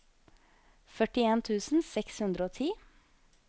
førtien tusen seks hundre og ti